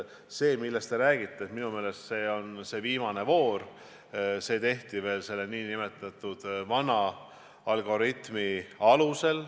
See, millest te räägite, oli minu meelest viimane voor, mis tehti veel nn vana algoritmi alusel.